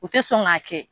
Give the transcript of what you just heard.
U tɛ sɔn k'a kɛ